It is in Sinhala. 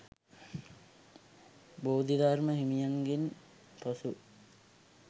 බෝධිධර්ම හිමියන්ගෙන් පසු